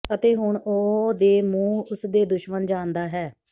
ਅਤੇ ਹੁਣ ਉਹ ਦੇ ਮੂੰਹ ਉਸ ਦੇ ਦੁਸ਼ਮਣ ਜਾਣਦਾ ਹੈ